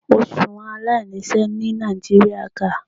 Oṣuwọn alainiṣẹ ni Nigeria ga